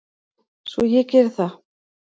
Svo ég geri það.